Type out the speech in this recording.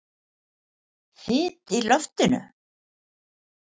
Þyt í loftinu?